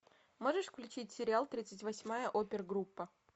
можешь включить сериал тридцать восьмая опер группа